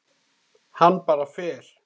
Hann bara fer.